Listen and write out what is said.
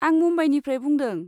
आं मुम्बाइनिफ्राय बुंदों।